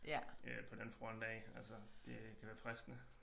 På den front af altså det kan være fristende